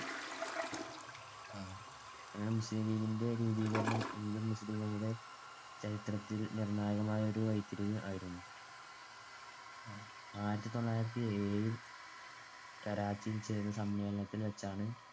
അങ്ങനെ മുസ്ലീം ലീഗിന്‍ടെ രൂപീകരണം ഇന്ത്യൻ മുസ്ലീംങ്ങളുടെ ചരിത്രത്തിൽ നിർണ്ണായകമായ വഴിത്തിരിവായിരുന്നു. ആയിരത്തിതൊള്ളായിരത്തിയേഴിൽ കറാച്ചിയിൽ ചേരുന്ന സമ്മേളനത്തിൽവെച്ചാണ്